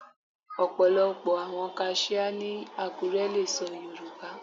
Ọ̀pọ̀lọ́pọ̀ àwọn kaṣíá ní Àkúré lè sọ Yorùbá.